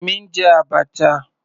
Èmi ń jẹ abacha.